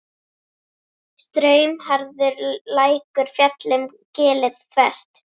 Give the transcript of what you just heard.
Straumharður lækur féll um gilið þvert.